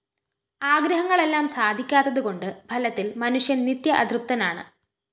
ആഗ്രഹങ്ങളെല്ലാം സാധിക്കാത്തതുകൊണ്ട് ഫലത്തില്‍ മനുഷ്യന്‍ നിത്യ അതൃപ്തനാണ്